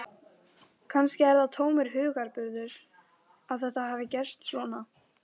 Kannski er það tómur hugarburður að þetta hafi gerst svona.